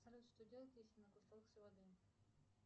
салют что делать если наглотался воды